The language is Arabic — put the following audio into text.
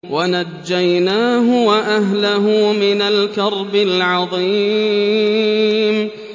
وَنَجَّيْنَاهُ وَأَهْلَهُ مِنَ الْكَرْبِ الْعَظِيمِ